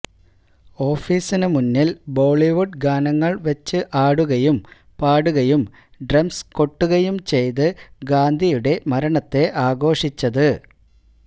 ഓഫീസിന് മുന്നില് ബോളിവുഡ് ഗാനങ്ങള് വെച്ച് ആടുകയും പാടുകയും ഡ്രംസ് കെട്ടുകയും ചെയ്ത് ഗാന്ധിയുടെ മരണത്തെ ആഘോഷിച്ചത്